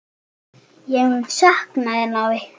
Ég mun sakna þín, afi.